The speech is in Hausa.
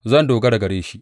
Zan dogara gare shi.